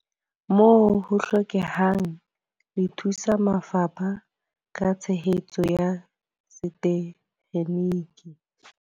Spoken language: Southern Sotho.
Moo ho hlokehang, le thusa mafapha ka tshehetso ya setekgeniki.